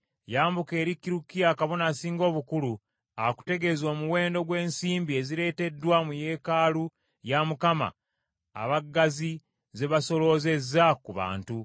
“Yambuka eri Kirukiya kabona Asinga obukulu, akutegeeze omuwendo gw’ensimbi ezireeteddwa mu yeekaalu ya Mukama abaggazi ze basoloozezza ku bantu.